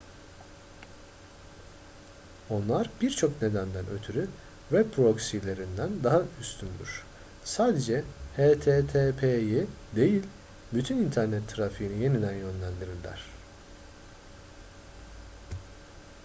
onlar birçok nedenden ötürü web proxylerinden daha üstündür sadece http'yi değil bütün internet trafiğini yeniden yönlendirirler